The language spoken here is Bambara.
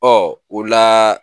o la